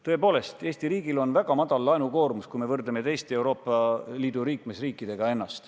Tõepoolest, Eesti riigil on väga madal laenukoormus, kui me võrdleme ennast teiste Euroopa Liidu liikmesriikidega.